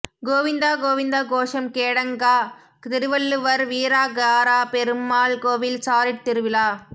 கோவிந்த கோவிந்தா கோஷம் கேடங்கா திருவள்ளுவர் வீரகாரா பெருமாள் கோவில் சாரிட் திருவிழா